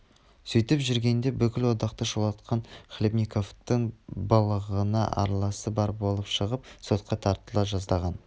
сөйтіп жүргенде бүкіл одақты шулатқан хлебниковтың былығына араласы бар боп шығып сотқа тартыла жаздаған